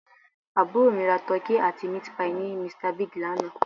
Àbúrò mi ra Turkey àti Meat pie ní Mr Big lánàá